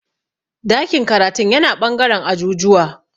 Dakin karatun yana ɓangaren ajujuwa